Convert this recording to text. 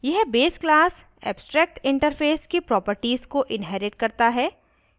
यह base class abstractinterface की properties को inherits करता है